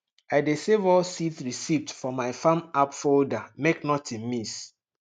i dey save all seed receipt for my farm app folder make nothing miss